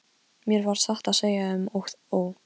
Mér varð satt að segja um og ó.